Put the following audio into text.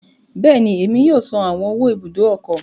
Bẹẹni, Emi yoo san awọn owó Ibùdó ọkọ̀